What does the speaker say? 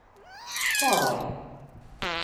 Skoraj!